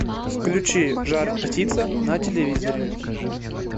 включи жар птица на телевизоре